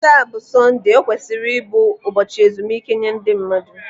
Taa bụ Sọnde, o kwesịrị ịbụ ụbọchị ezumike nye ndị mmadụ.